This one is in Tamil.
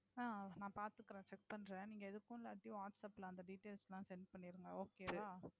அஹ் அது நான் பாத்துக்குறேன் Check பன்ரேன். நீங்க எதுக்கும் இல்லாட்டி Whatsapp ல அந்த Details எல்லாம் Sent பன்னிருங்க Okay வா.